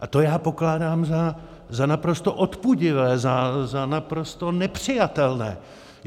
A to já pokládám za naprosto odpudivé, za naprosto nepřijatelné.